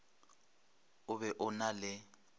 o be o na le